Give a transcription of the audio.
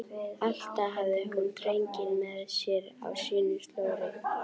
Alltaf hafði hún drenginn með sér á sínu slóri.